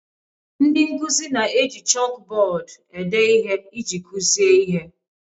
Ndị nkuzi na-eji chalkbọọdụ ede ihe iji kuzie ihe.